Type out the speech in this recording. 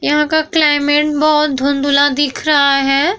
यहाँ का क्लाइमेट बहुत धुंधला दिख रहा है।